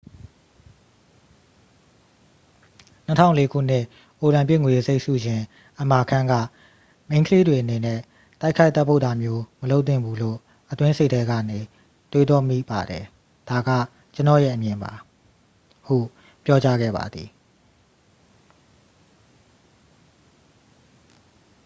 "၂၀၀၄ ခုနှစ် အိုလံပစ်ငွေတံဆိပ်ဆုရှင် အမာခန်းက၊ "မိန်းကလေးတွေအနေနဲ့ တိုက်ခိုက်သတ်ပုတ်တာမျိုး မလုပ်သင့်ဘူးလို့ အတွင်းစိတ်ထဲကနေ တွေးတောမိပါတယ်။ ဒါက ကျွန်တော့်ရဲ့အမြင်ပါ" ဟု ပြောကြားခဲ့ပါသည်။